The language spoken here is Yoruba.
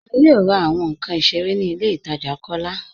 A yóò rà awọn nkàn ìṣẹ̀rẹ̀ ní ilẹ̀ ìtaja Kọlá